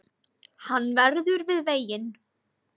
Hann verður við veginn